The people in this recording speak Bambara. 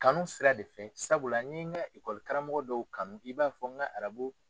Kanu sira de fɛ sabula n ɲɛ n ka karamoko dɔw kanu i b'a fɔ n ka